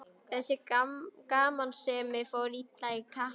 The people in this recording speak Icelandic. Þessi gamansemi fór illa í kappann.